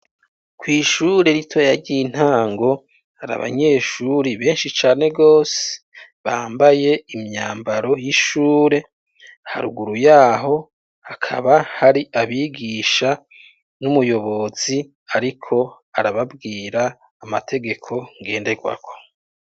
Kw'ishure ritoya ry'intango, hari abanyeshuri benshi cane rwose, bambaye imyambaro y'ishure; haruguru y'aho, hakaba hari abigisha n'umuyobozi, ariko arababwira amategeko ngenderwako.